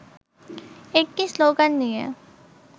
একটি শ্লোগান নিয়ে